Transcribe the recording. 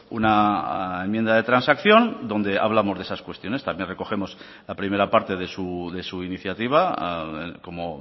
una enmienda de transacción donde hablamos de esas cuestiones también recogemos la primera parte de su iniciativa como